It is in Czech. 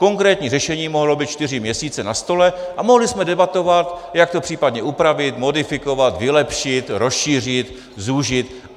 Konkrétní řešení mohlo být čtyři měsíce na stole a mohli jsme debatovat, jak to případně upravit, modifikovat, vylepšit, rozšířit, zúžit.